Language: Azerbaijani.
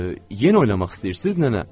Yenə oynamaq istəyirsiz, nənə?